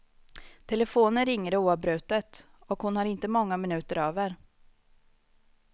Telefonen ringer oavbrutet, och hon har inte många minuter över.